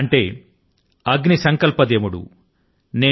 ఈ మాటల కు అగ్ని సంకల్ప దేవుడు